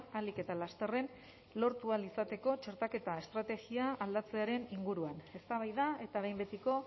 ahalik eta lasterren lortu ahal izateko txertaketa estrategia aldatzearen inguruan eztabaida eta behin betiko